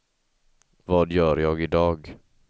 vad gör jag idag